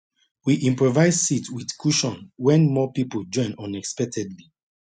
we improvise seat with cushion when more people join unexpectedly